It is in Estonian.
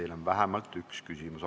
Teile on vähemalt üks küsimus.